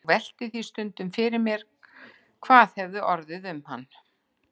Ég velti því stundum fyrir mér hvað orðið hefði um hann.